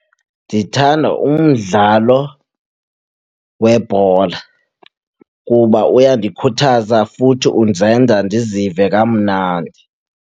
Ndithanda umdlalo webhola kuba uyandikhuthaza futhi undenza ndizive kamnandi.